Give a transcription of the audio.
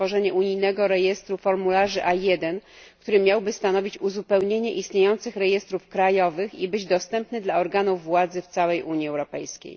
stworzenie unijnego rejestru formularzy A1, który miałby stanowić uzupełnienie istniejących rejestrów krajowych i być dostępny dla organów władzy w całej Unii Europejskiej.